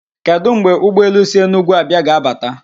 Kedụ mgbe ụgbọelu si Enugwu abịạ ga-abata?